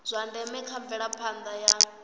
zwa ndeme kha mvelaphanda ya